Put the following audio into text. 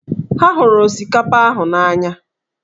Ha hụrụ osikapa ahụ na-anya.